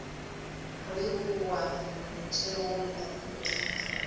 re o a ntheola o